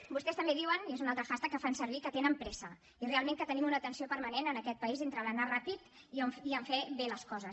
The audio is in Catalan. vostès també diuen i és un altre hashtag que fan servir que tenen pressa i realment tenim una tensió permanent en aquest país entre l’anar ràpid i el fer bé les coses